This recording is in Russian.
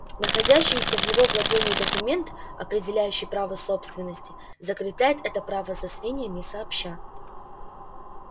находящийся в его владении документ определяющий право собственности закрепляет это право за свиньями сообща